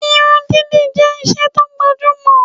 Irun dídì jẹ́ isẹ́ tó gbajúmọ̀